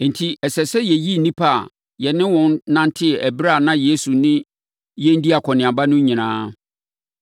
Enti ɛsɛ sɛ yɛyi nnipa a yɛne wɔn nantee ɛberɛ a na Yesu ne yɛn dii akɔneaba no nyinaa,